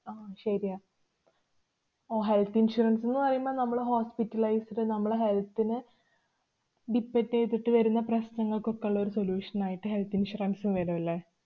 ആഹ് ശരിയാ ഓ health insurance ന്ന് പറയുമ്പോ നമ്മള് hospitalized അ് നമ്മളെ health ന് depend എയ്തിട്ട് വരുന്ന പ്രശ്നങ്ങള്‍ക്കൊക്കെ ള്ളൊരു solution ആയിട്ടു health insurance വരും അല്ലെ.